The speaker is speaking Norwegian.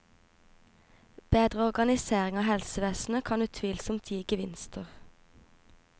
Bedre organisering av helsevesenet kan utvilsomt gi gevinster.